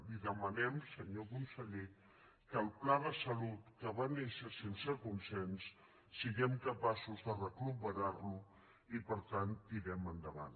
li demanem senyor conseller que el pla de salut que va néixer sense consens siguem capaços de recuperar lo i per tant tirem endavant